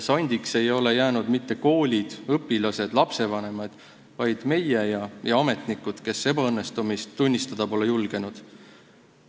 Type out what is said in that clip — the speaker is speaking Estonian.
Sandiks ei ole jäänud mitte koolid, õpilased ega lastevanemad, vaid meie ja ametnikud, kes ebaõnnestumist tunnistada pole julgenud.